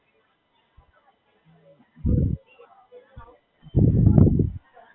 ના, બરોડા માંજ સેટલ થવાનું છે, બહાર તો ઈચ્છા છે નહીં.